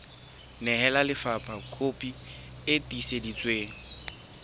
nehela lefapha kopi e tiiseditsweng